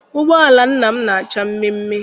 Ụgbọala nna m na-acha mmeemmee.